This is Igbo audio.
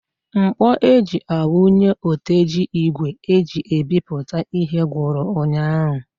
Ńkpọ̀ eji a wunye oteji ígwè eji ebipụta ihe gwụrụ ụnyaahụ.